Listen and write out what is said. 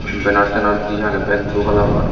banner tenner di aagey beg blue kalaror.